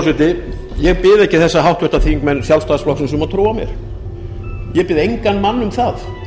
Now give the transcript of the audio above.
frú forseti ég bið ekki þessa háttvirtir þingmenn sjálfstæðisflokksins um að trúa mér ég bið engan mann um það